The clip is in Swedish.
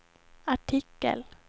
artikel